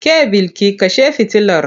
Ke Bilki kashe fitilar!